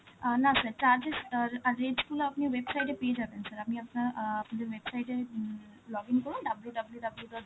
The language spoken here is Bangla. অ্যাঁ না sir, charges আর rate গুলো আপনি website এ পেয়ে যাবেন sir, আপনি আপনার~ অ্যাঁ আমাদের website এ হম login করুন, W W W dot